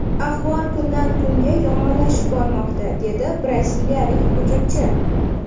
Ahvol kundan-kunga yomonlashib bormoqda”, dedi braziliyalik hujumchi.